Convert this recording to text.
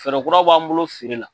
Fɛɛrɛ kuraw b'an bolo feere la.